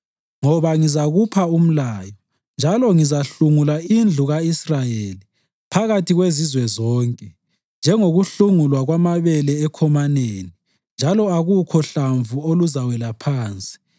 “Ngoba ngizakupha umlayo, njalo ngizahlungula indlu ka-Israyeli phakathi kwezizwe zonke njengokuhlungulwa kwamabele ekhomaneni njalo akukho hlamvu oluzawela phansi.